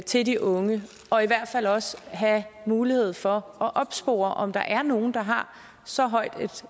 til de unge og i hvert fald også have mulighed for at opspore om der er nogle der har så højt